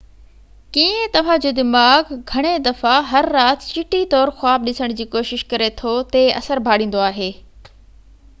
ڪيئن توهان جو دماغ گهڻي دفعا هر رات چٽي طور خواب ڏسڻ جي ڪوشش ڪري ٿو تي اثر ڀاڙيندو آهي